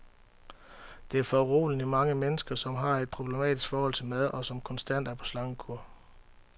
Der er foruroligende mange mennesker, som har et problematisk forhold til mad, og som konstant er på slankekur.